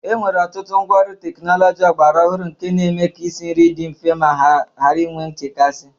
Enwere ọtụtụ ngwaọrụ teknọlọji ọgbara ọhụrụ nke na-eme ka isinri dị mfe ma ghara inwe nchekasị